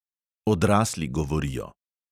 "Odrasli govorijo."